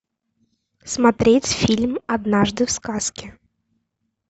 смотреть фильм однажды в сказке